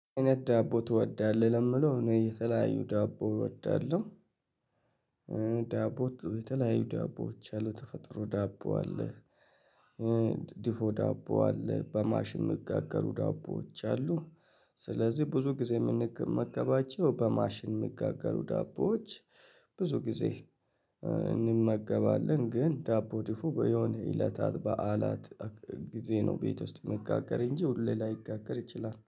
አይነት ዳቦ ትወዳለህ ለሚለው እኔ የተለያዩ ዳቦ እወዳለሁ። ዳቦ የተለያዩ ዳቦዎች ያሉ ተፈጥሮ ዳቦ አለ። ዲፎ ዳቦ አለ በማሽን ሚጋገሩ ዳቦዎች አሉ። ስለዚህ ብዙ ጊዜ የምንገባቸው በማሽን ሚጋገሩ ዳቦዎች ብዙ ጊዜ እንመገባለን። ግን ዳቦ ዲፉ በሆነ እለታት በዓላት ጊዜ ነው ቤት ውስጥ ሚጋገር እንጂ ሁሌ ላይጋገር ይችላል